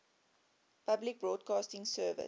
public broadcasting service